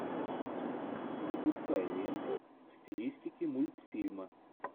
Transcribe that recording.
запускай ленту в стилистике мультфильма